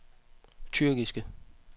tyrkiske